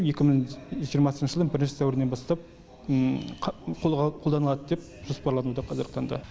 екі мың жиырмасыншы жылдың бірінші сәуірінен бастап қолданылады деп жоспарлануда қазіргі таңда